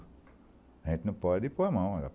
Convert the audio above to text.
A gente não pode pôr a mão.